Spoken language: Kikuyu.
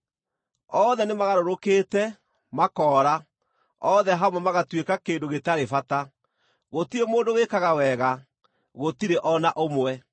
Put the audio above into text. Othe nĩmagarũrũkĩte, makoora, othe hamwe magatuĩka kĩndũ gĩtarĩ bata; gũtirĩ mũndũ wĩkaga wega, gũtirĩ o na ũmwe.”